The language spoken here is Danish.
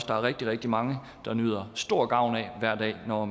der er rigtig rigtig mange der nyder stor gavn af hver dag når